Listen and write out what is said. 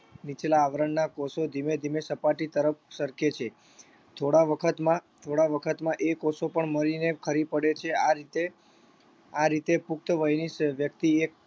નીચલા આવરણના કોષો ધીમે ધીમે સપાટી તરફ સરકે છે થોડા વખતમાં થોડા વખતમાં એ કોષો પણ મરીને ખરી પડે છે આ રીતે આ રીતે પુખ્ત વયની વ્યક્તિ એક